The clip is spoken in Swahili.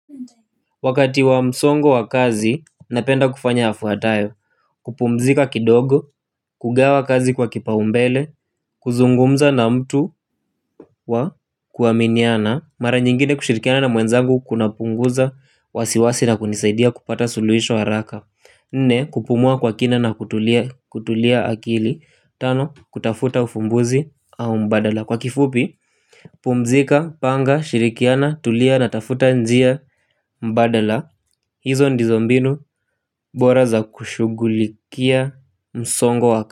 Wakati wa msongo wa kazi, napenda kufanya yafuatayo, kupumzika kidogo, kugawa kazi kwa kipa umbele, kuzungumza na mtu wa kuaminiana, mara nyingine kushirikiana na mwenzangu kuna punguza wasiwasi na kunisaidia kupata suluhisho haraka. Nne kupumua kwa kina na kutulia akili, tano kutafuta ufumbuzi au mbadala, kwa kifupi pumzika, panga, shirikiana, tulia na tafuta njia mbadala. Hizo ndizo mbinu bora za kushugulikia msongo waka.